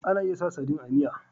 Ana iya sa sadin a miya